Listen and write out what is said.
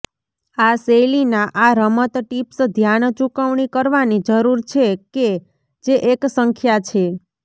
આ શૈલીના આ રમત ટીપ્સ ધ્યાન ચૂકવણી કરવાની જરૂર છે કે જે એક સંખ્યા છે